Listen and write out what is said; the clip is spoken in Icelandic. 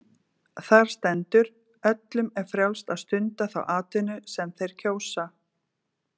Þar stendur: Öllum er frjálst að stunda þá atvinnu sem þeir kjósa.